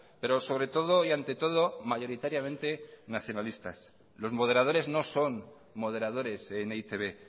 pero sobre todo y ante todo mayoritariamente nacionalistas los moderadores no son moderadores en e i te be